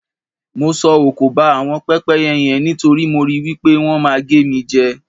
Mo sọ òkò ba àwọn pẹ́pẹ́yẹ yen nítorí mo rò wí pé wọ́n máa gé mi jẹ.